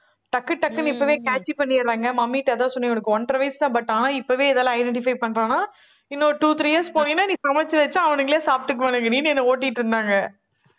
டக்கு டக்குன்னு இப்பவே catchy பண்ணிடுறாங்க. mummy அதான் சொன்னேன், உனக்கு ஒன்றரை வயசுதான். but ஆனால் இப்பவே இதெல்லாம் identify பண்றான்னா, இன்னொரு two, three years நீ சமைச்சு வச்சா அவனுங்களே சாப்பிட்டுக்குவானுங்கடின்னு என்னை ஓட்டிட்டு இருந்தாங்க